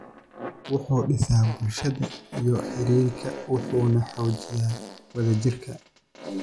wuxuu dhisaa bulshada iyo xiriirka, wuxuuna xoojiyaa wadajirka.